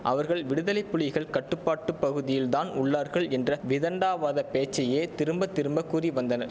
அவர்கள் விடுதலைப்புலிகள் கட்டுப்பாட்டு பகுதியில் தான் உள்ளார்கள் என்ற விதண்டாவாதப் போச்சையே திரும்ப திரும்ப கூறி வந்தனர்